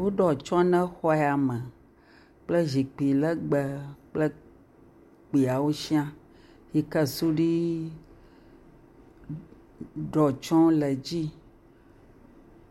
Woɖo atsye ne xɔ ya me kple sikpui legbe kple kpuiwo sɛ̃a yike sudui ɖɔ tsye le edzi.